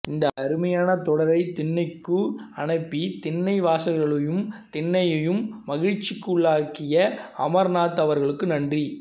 இந்த அருமையான தொடரை திண்ணைக்கு அனுப்பி திண்ணை வாசகர்களையும் திண்ணையையும் மகிழ்ச்சிக்குள்ளாக்கிய அமர்நாத் அவர்களுக்கு நன்றி